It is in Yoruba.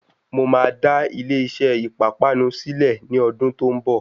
Mo máa dá ilé iṣé ìpápánu sílẹ ní ọdún tó ń bọ̀.